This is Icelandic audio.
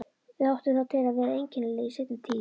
Þau áttu það til að vera einkennileg í seinni tíð.